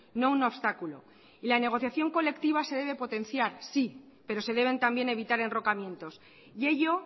no un obstáculo y la negociación colectiva se debe potenciar sí pero se deben también evitar enrocamientos y ello